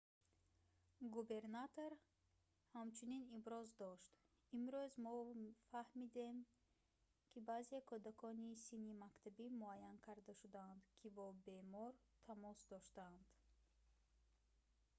губернатор ҳамчунин иброз дошт имрӯз мо фаҳмидем ки баъзе кӯдакони синни мактабӣ муайян карда шудаанд ки бо бемор тамос доштанд